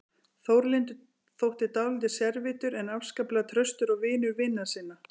Þórlindur þótti dálítið sérvitur en afskaplega traustur og vinur vina sinna.